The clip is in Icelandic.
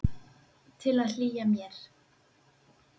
Til að hlýja mér.